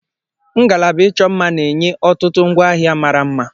Ngalaba ịchọ mma na-enye ọtụtụ ngwaahịa mara mma.